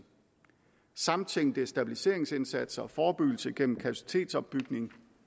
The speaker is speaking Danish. samtænkning af stabiliseringsindsatser og forebyggelse gennem kapacitetsopbygning